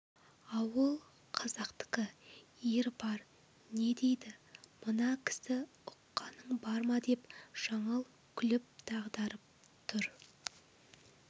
ауыл қазақтікі ер бар не дейді мына кісі ұққаның бар ма деп жаңыл күліп дағдарып тұр